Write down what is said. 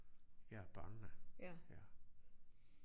Ja børnene ja